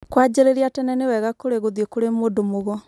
kũanjĩrĩria tene nĩ wega kũrĩ gũthiĩ kũrĩ mũndũ mũgo